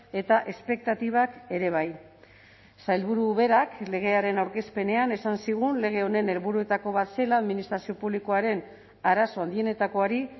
eta espektatibak ere bai sailburu berak legearen aurkezpenean esan zigun lege honen helburuetako bat zela administrazio publikoaren arazo handienetakoari